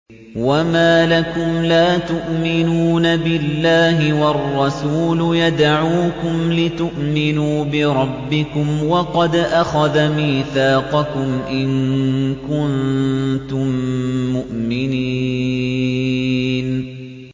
وَمَا لَكُمْ لَا تُؤْمِنُونَ بِاللَّهِ ۙ وَالرَّسُولُ يَدْعُوكُمْ لِتُؤْمِنُوا بِرَبِّكُمْ وَقَدْ أَخَذَ مِيثَاقَكُمْ إِن كُنتُم مُّؤْمِنِينَ